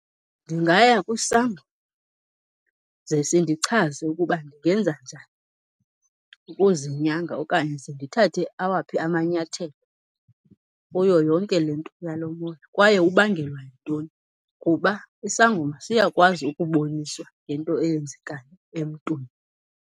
Ndingaya kwisangoma ze sindichaze ukuba ndingenza njani ukuzinyanga okanye ze ndithathe awaphi amanyathelo kuyo yonke le nto yalo moya kwaye ubangelwa yintoni, kuba isangoma siyakwazi ukuboniswa ngento eyenzekayo emntwini.